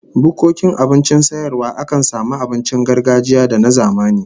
Bukkokin abincin sayarwa akan samu abincin gargajiya da na zamani